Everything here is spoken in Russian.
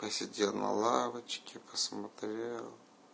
посидел на лавочке посмотрел